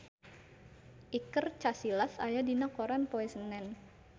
Iker Casillas aya dina koran poe Senen